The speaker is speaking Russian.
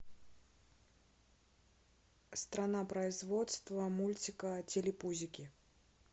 страна производства мультика телепузики